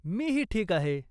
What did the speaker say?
मीही ठीक आहे.